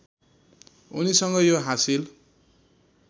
उनीसँग यो हासिल